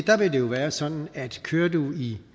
jo være sådan at kører du i